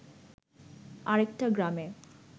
আরেকটা গ্রামে